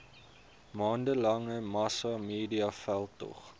maande lange massamediaveldtog